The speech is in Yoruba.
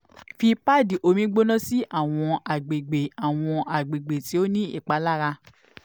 fi padi omi gbona si awọn agbegbe awọn agbegbe ti o ni ipalara